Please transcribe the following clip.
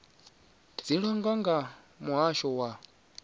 dzi langwa nga muhasho wa